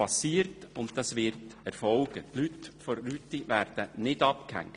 Die Erschliessung der Rüti wird also erfolgen, die Leute der Rüti werden nicht abgehängt.